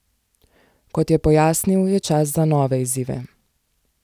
Kot je pojasnil, je čas za nove izzive.